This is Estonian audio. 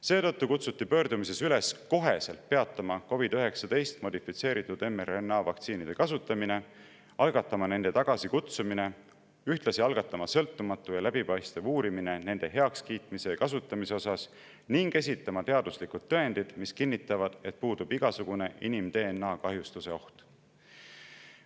Seetõttu kutsuti pöördumises üles otsekohe peatama COVID-19 modifitseeritud mRNA vaktsiinide kasutamine, algatama nende tagasikutsumine, ühtlasi algatama sõltumatu ja läbipaistev uurimine nende heakskiitmise ja kasutamise osas ning esitama teaduslikud tõendid, mis kinnitavad, et puudub igasugune inim-DNA kahjustuse oht.